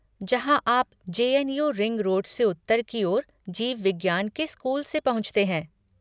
जहाँ आप J N U ring road से उत्तर की ओर जीव विज्ञान के स्कूल से पहुँचते हैं।